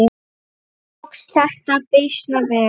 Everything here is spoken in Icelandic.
Tókst þetta býsna vel.